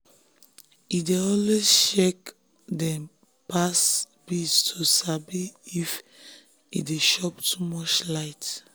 he dey always check dem past bills to sabi if he dey chop too much light.